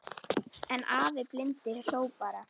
En afi blindi hló bara.